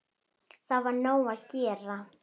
Þá var nóg að gera.